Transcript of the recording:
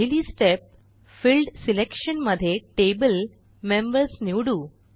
पहिली step field selection मध्ये Table members निवडू